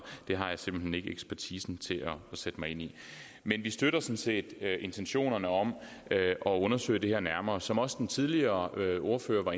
det har jeg simpelt hen ikke ekspertisen til at sætte mig ind i men vi støtter sådan set intentionerne om at undersøge det her nærmere som også den tidligere ordfører